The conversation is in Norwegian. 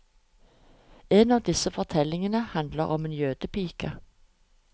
En av disse fortellingene handler om en jødepike.